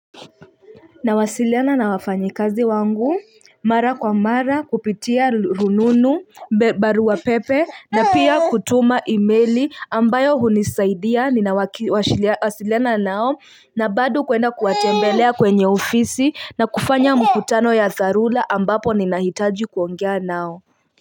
Nawasiliana na wafanyakazi wangu mara kwa mara kupitia rununu barua pepe na pia kutuma email ambayo hunisaidia wasiliana nao na bado kwenda kuwatembelea kwenye ofisi na kufanya mikutano ya dharura ambapo ninahitaji kuongea nao.